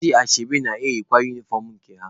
Ndị ashebi na-eyikwa unifọm nke ha.